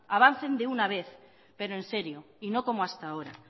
avancen de una vez pero en serio y no como hasta ahora